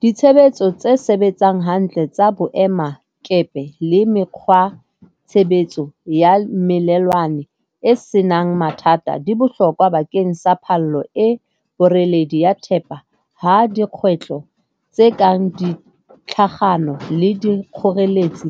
Ditshebetso tse sebetsang hantle tsa boemakepe le mekgwa tshebetso ya melelwane e senang mathata di botlhokwa bakeng sa palo e boreledi ya thepa ha dikgwetlho tse kang ditlhagano le dikgoreletsi